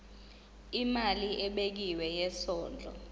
imali ebekiwe yesondlo